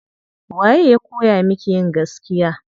Waye ya kowa miki yin gaskiya.